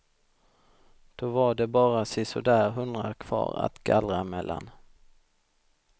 Då var det bara sisådär hundra kvar att gallra mellan.